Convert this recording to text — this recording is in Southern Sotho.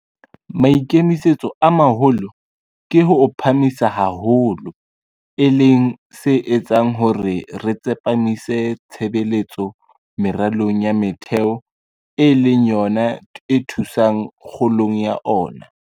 Maikemisetso a maholo ke ho o phahamisa haholo, e leng se etsang hore re tsepamise tshebetso meralong ya metheo e leng yona e thusang kgolong ya ona.